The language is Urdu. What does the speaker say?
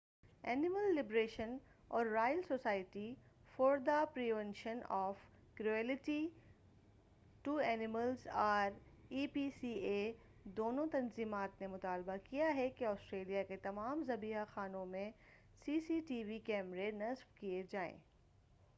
اینیمل لبریشن اور royal society for the prevention of cruelty to animals R S P C A دونوں تنظیمات نے مطالبہ کیا ہے کہ آسٹریلیا کے تمام ذبیحہ خانوں میں سی سی ٹی وی کیمرے نصب کئے جائیں۔